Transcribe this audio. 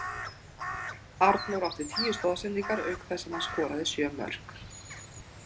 Arnór átti tíu stoðsendingar auk þess sem hann skoraði sjö mörk.